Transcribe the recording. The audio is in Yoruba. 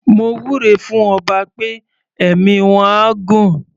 Mo wúre fún ọba pé ẹ̀mí wọ́n á gún.